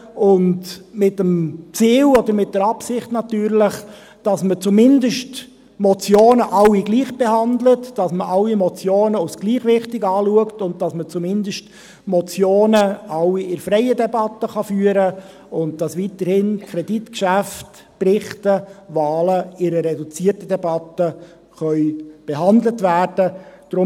Dies natürlich mit dem Ziel oder der Absicht, dass man zumindest alle Motionen gleichbehandelt, dass man alle Motionen als gleich wichtig betrachtet und dass man zumindest alle Motionen in freier Debatte beraten kann und dass Kreditgeschäfte, Berichte und Wahlen weiterhin in einer reduzierten Debatte behandelt werden können.